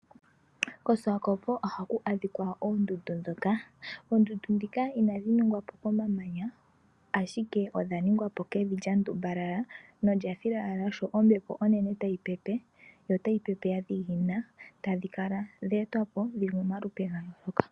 KOswakopo ohaku adhika oondundu. Oondundu ndhika inadhi ningwa po komamanya, shike odh aningwa po kevi lya ndumbalala nolya tumbalala sho ombepo onene tayi pepe yo otayi pepe ya dhiginina. Odha etwa po dhi li momalupe ga yooloka.